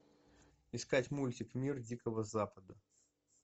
искать мультик мир дикого запада